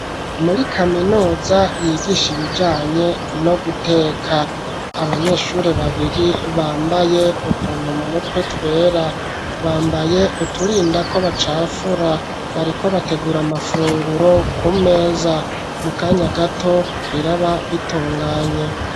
Muri kaminuza yigisha ibijanye no guteka, abanyeshuri babiri bambaye utuntu mu mutwe twera, bambaye uturinda ko bacafura, bariko bategura amafunguro ku meza, mu kanya gato biraba bitunganye.